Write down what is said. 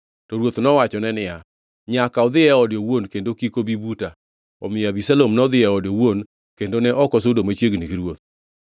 To ruoth nowachone niya, “Nyaka odhi e ode owuon; kendo kik obi buta.” Omiyo Abisalom nodhi e ode owuon kendo ne ok osudo machiegni gi ruoth.